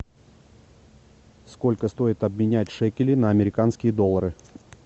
сколько стоит обменять шекели на американские доллары